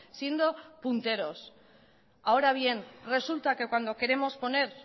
siendo punteros ahora bien resulta que cuando queremos poner